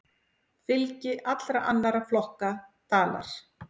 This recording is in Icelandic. Fylgi allra annarra flokka dalar.